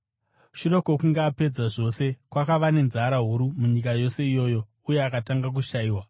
Shure kwokunge apedza zvose, kwakava nenzara huru munyika yose iyoyo, uye akatanga kushayiwa.